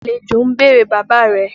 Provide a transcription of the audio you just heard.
Àlejò ń bèrè bàbá rẹ.